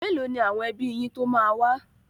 Mélòó ni àwọn ẹbí yín tó máa wá?